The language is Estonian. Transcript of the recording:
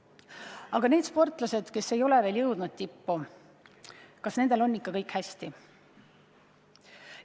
Aga need sportlased, kes veel ei ole jõudnud tippu, kas nendel on ikka kõik hästi?